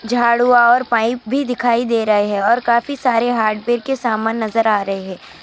جھاڑو اور پا دکھائی دے رہے ہیں اور کہیں سارے کا سامان بھی دکھائی دے.